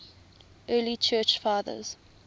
early church fathers